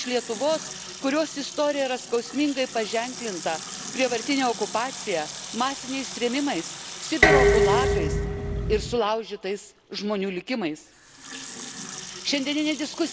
Aš pati esu iš šalies, iš Lietuvos, kurios istorija yra skausmingai paženklinta prievartine okupacija, masiniais trėmimais, Sibiro gulagais ir sulaužytais žmonių likimais.